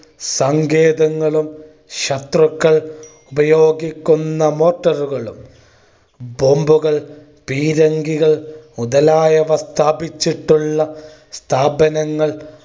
സങ്കേതങ്ങളും ശത്രുക്കൾ ഉപയോഗിക്കുന്ന motor ഉകളും bomb കൾ പീരങ്കികൾ മുതലായവ സ്ഥാപിച്ചിട്ടുള്ള സ്ഥാപനങ്ങൾ